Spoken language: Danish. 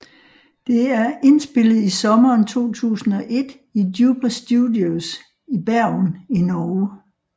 Det er indspillet i sommeren 2001 i Duper Studios i Bergen i Norge